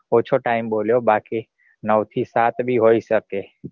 ઓછો time બોલ્યો બાકી નવ થી સાત ભી હોઈ શકે.